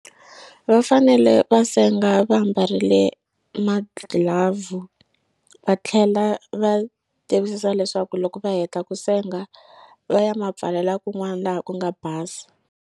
Va fanele va senga va mbarile magilavhu va tlhela va tivisisa leswaku loko va heta ku senga va ya ma pfalela kun'wani laha ku nga basa.